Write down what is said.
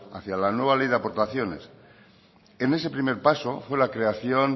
hacia la nueva ley de aportaciones en ese primer paso fue la creación